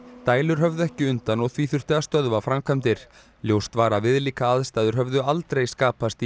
dælur höfðu ekki undan og því þurfti að stöðva framkvæmdir ljóst var að viðlíka aðstæður höfðu aldrei skapast í